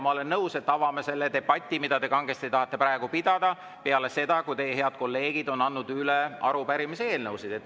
Ma olen nõus, et me avame selle debati, mida te kangesti tahate praegu pidada, peale seda, kui teie head kolleegid on andnud üle arupärimised ja eelnõud.